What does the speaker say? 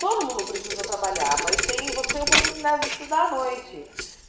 Todo mundo precisa trabalhar, mas tem você tem a oportunidade de estudar à noite.